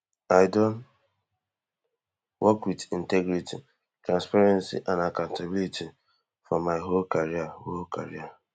i don work wit integrity transparency and accountability for my whole career whole career